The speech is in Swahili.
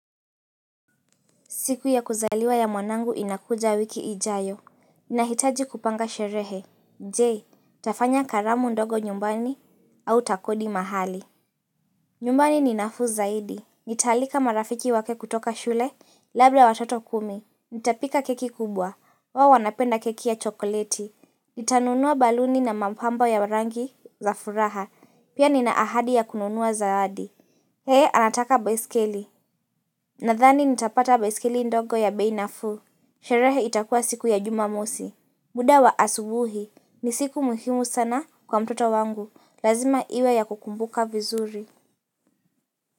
Siku ya kuzaliwa ya mwanangu inakuja wiki ijayo inahitaji kupanga sherehe. Je, tafanya karamu ndogo nyumbani au takodi mahali nyumbani ni nafu zaidi Nitaalika marafiki wake kutoka shule Labda watoto kumi Nitapika keki kubwa. Wao wanapenda keki ya chokoleti Nitanunua baluni na mapambo ya rangi za furaha Pia nina ahadi ya kununua zawadi yeye anataka baiskeli Nadhani nitapata baiskeli ndogo ya bei nafuu. Sherehe itakuwa siku ya jumamosi. Muda wa asubuhi. Ni siku muhimu sana kwa mtoto wangu. Lazima iwe ya kukumbuka vizuri.